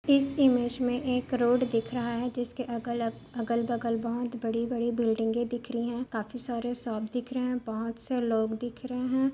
इस ईमेज में एक रोड दिख रहा है जिसके अगल अगल-बगल बहुत बड़ी-बड़ी बिल्डिंग दिख रही है काफी सारे सांप दिख रहे हैं बहुत से लोग दिख रहे हैं।